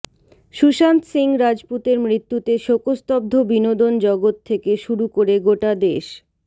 সুশান্ত সিং রাজপুতের মৃত্যুতে শোকস্তব্ধ বিনোদন জগৎ থেকে শুরু করে গোটা দেশ